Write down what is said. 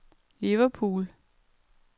Liverpool